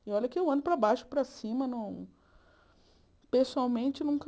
E olha que eu ando para baixo, para cima, não... Pessoalmente, nunca...